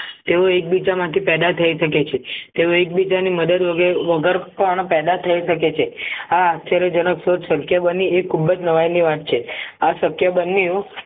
તેઓ એકબીજામાંથી પેદા થઈ શકે છે તેઓ એકબીજાની મદદ વગર પણ પેદા થઈ શકે છે આ આશ્ચર્ય જનક સોચ શક્ય બની એ ખુબ જ નવાઈ ની વાત છે આ શક્ય બનવું એવું